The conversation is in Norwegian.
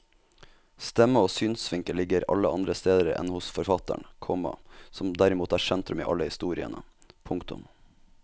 Stemme og synsvinkel ligger alle andre steder enn hos forfatteren, komma som derimot er sentrum i alle historiene. punktum